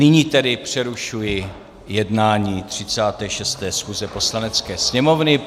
Nyní tedy přerušuji jednání 36. schůze Poslanecké sněmovny.